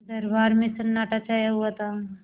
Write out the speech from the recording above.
दरबार में सन्नाटा छाया हुआ था